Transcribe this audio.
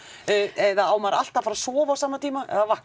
eða á maður alltaf að fara að sofa á sama tíma eða vakna